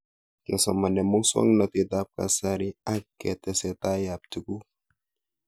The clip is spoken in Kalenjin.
Kesomane muswog'natet ab kasari ak tesetai ab tuguk